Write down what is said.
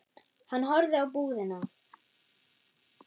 Hann horfði á búðina.